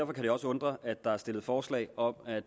kan det også undre at der er stillet forslag om at